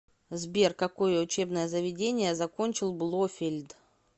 сбер какое учебное заведение закончил блофельд